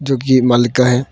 जो कि मालिक का है।